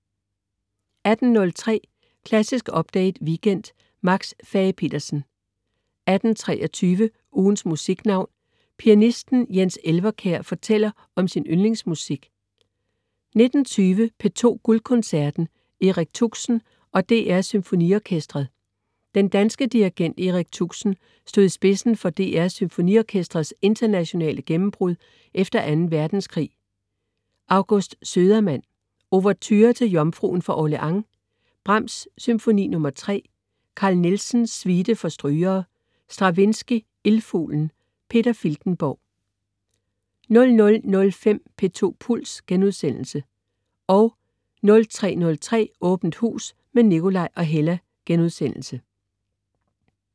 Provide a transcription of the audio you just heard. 18.03 Klassisk Update Weekend. Max Fage-Petersen 18.23 Ugens Musiknavn. Pianisten Jens Elvekjær fortæller om sin yndlingsmusik 19.20 P2 Guldkoncerten. Erik Tuxen og DR SymfoniOrkestret. Den danske dirigent Erik Tuxen stod i spidsen for DR SymfoniOrkestrets internationale gennembrud efter 2. verdenskrig. August Södermann: Ouverture til Jomfruen fra Orleans. Brahms: Symfoni nr. 3. Carl Nielsen: Suite for strygere. Stravinskij: Ildfuglen. Peter Filtenborg 00.05 P2 Puls* 03.03 Åbent Hus med Nikolaj og Hella*